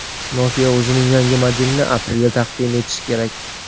Nokia o‘zining yangi modelini aprelda taqdim etishi kerak.